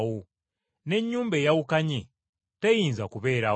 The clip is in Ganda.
N’ennyumba eyawukanye, teyinza kubeerawo.